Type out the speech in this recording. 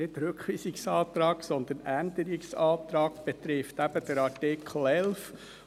Nicht dieser Rückweisungsantrag, sondern dieser Änderungsantrag betrifft den Artikel 11.